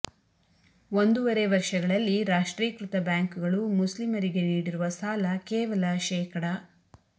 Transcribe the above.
ಒಂದೂವರೆ ವರ್ಷಗಳಲ್ಲಿ ರಾಷ್ಟ್ರೀಕೃತ ಬ್ಯಾಂಕುಗಳು ಮುಸ್ಲಿಮರಿಗೆ ನೀಡಿರುವ ಸಾಲ ಕೇವಲ ಶೇ